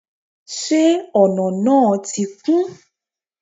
se ona náá ti kún?